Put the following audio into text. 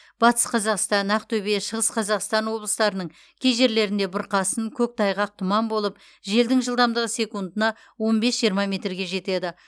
батыс қазақстан ақтөбе шығыс қазақстан облыстарының кей жерлеріңде бұрқасын көктайғақ тұман болып желдің жылдамдығы секундына он бес жиырма метрге жетеді